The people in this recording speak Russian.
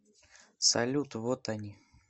салют вот они